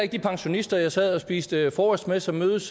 de pensionister jeg sad og spiste frokost med og som mødes